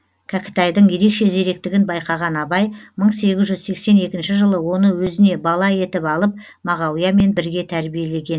кәкітайдың ерекше зеректігін байқаған абай мың сегіз жүз сексен екінші жылы оны өзіне бала етіп алып мағауиямен бірге тәрбиелеген